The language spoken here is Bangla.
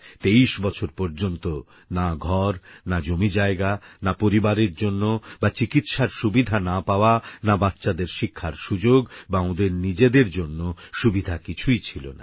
২৩ বছর পর্যন্ত না ঘর না জমি জায়গা না পরিবারের জন্য বা চিকিৎসার সুবিধা না পাওয়া না বাচ্চাদের শিক্ষার সুযোগ বা ওঁদের নিজের জন্য সুবিধা কিছুই ছিল না